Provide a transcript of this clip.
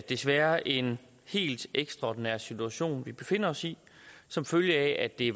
desværre en helt ekstraordinær situation vi befinder os i som følge af at det